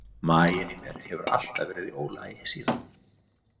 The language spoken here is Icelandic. Maginn í mér hefur alltaf verið í ólagi síðan.